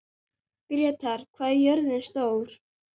Grétar, hvað er jörðin stór?